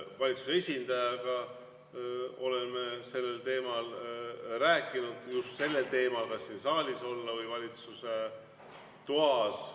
Valitsuse esindajaga oleme sellel teemal rääkinud, just sellel teemal, kas siin saalis olla või valitsuse toas.